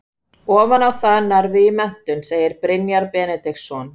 Ofan á það nærðu í menntun, segir Brynjar Benediktsson.